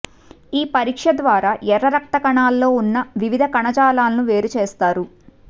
ఈ పరీక్ష ద్వారా ఎర్ర రక్తకణాల్లో ఉన్న వివిధ కణజాలాలను వేరుచేస్తారు